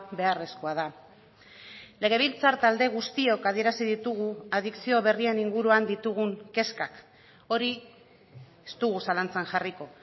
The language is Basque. beharrezkoa da legebiltzar talde guztiok adierazi ditugu adikzio berrien inguruan ditugun kezkak hori ez dugu zalantzan jarriko